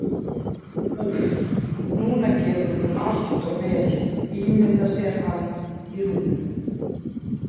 Úff, núna getur hún allt of vel ímyndað sér hann í rúminu.